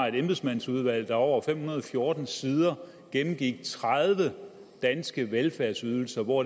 et embedsmandsudvalg som over fem hundrede og fjorten sider gennemgik tredive danske velfærdsydelser hvor